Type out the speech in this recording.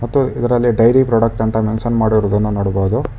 ಮತ್ತು ಇದರಲ್ಲಿ daily product ಅಂತ ಮೆಂಷನ್ ಮಾಡಿರುವುದನ್ನು ನೋಡಬಹುದು.